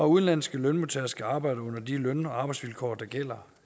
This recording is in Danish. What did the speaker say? udenlandske lønmodtagere skal arbejde under de løn og arbejdsvilkår der gælder